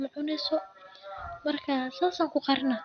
okale macunayan saas kuqarina